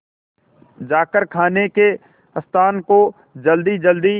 जाकर खाने के स्थान को जल्दीजल्दी